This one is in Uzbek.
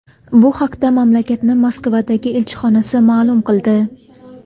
Bu haqda mamlakatning Moskvadagi elchixonasi ma’lum qildi .